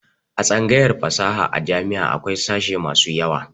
A tsangayar fasaha a jami'a akwai sashe masu yawa.